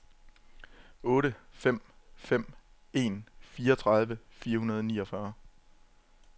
otte fem fem en fireogtredive fire hundrede og niogfyrre